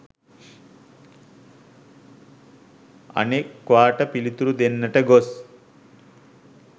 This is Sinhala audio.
අනෙක්වාට පිළිතුරු දෙන්නට ගොස්